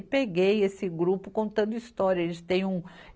E peguei esse grupo contando história, eles tem um.